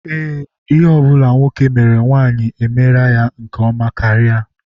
Ee, ihe ọ bụla nwoke mere nwanyị mere ya nke ọma karị.